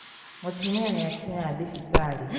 Mũtumia nĩakinya thibitarĩ